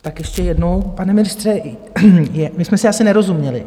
Tak ještě jednou, pane ministře, my jsme si asi nerozuměli.